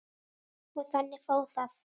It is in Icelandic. Og þannig fór það.